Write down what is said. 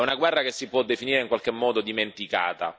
È una guerra che si può definire in qualche modo dimenticata.